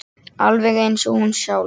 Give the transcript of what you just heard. Alveg eins og hún sjálf.